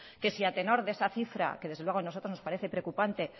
que si a tenor de esa cifra que desde luego a nosotros nos parece preocupante